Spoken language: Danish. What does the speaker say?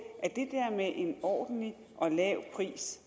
at med en ordentlig og lav pris